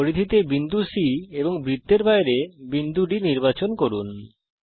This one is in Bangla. পরিধিতে বিন্দুC এবং বৃত্তের বাইরে বিন্দু D নির্বাচন করুন